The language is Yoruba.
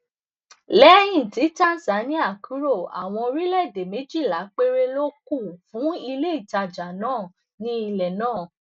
lẹyìn tí tànsáníà kúrò àwọn orílẹèdè méjìlá péré ló kù fún iléìtajà náà ní ilẹ náà